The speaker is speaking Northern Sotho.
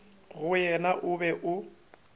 go yena o be o